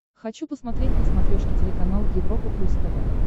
хочу посмотреть на смотрешке телеканал европа плюс тв